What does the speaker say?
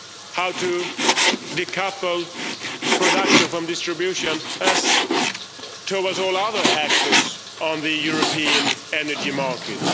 How to decouple production from distribution as for all other actors on the European energy market?